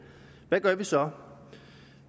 hvad gør vi så